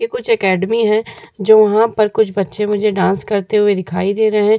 ये कुछ अकैडमी है जो वहाँ पर कुछ बच्चे मुझे डांस करते हुए दिखाई दे रहे हैं।